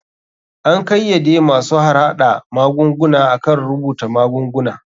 An kayyade masu harhada magunguna akan rubuta magunguna.